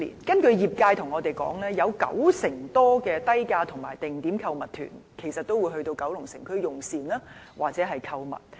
根據業界反映，九成多低價和定點購物團會前往九龍城區用膳或購物。